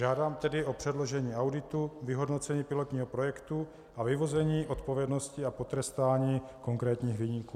Žádám tedy o předložení auditu, vyhodnocení pilotního projektu a vyvození odpovědnosti a potrestání konkrétních viníků.